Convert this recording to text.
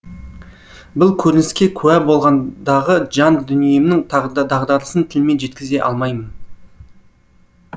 бұл көрініске куә болғандағы жан дүниемнің дағдарысын тілмен жеткізе алмаймын